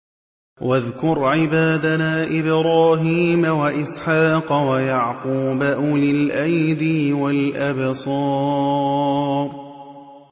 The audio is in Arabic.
وَاذْكُرْ عِبَادَنَا إِبْرَاهِيمَ وَإِسْحَاقَ وَيَعْقُوبَ أُولِي الْأَيْدِي وَالْأَبْصَارِ